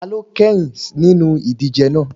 Ta ló kẹ́yìn nínú ìdíje náà?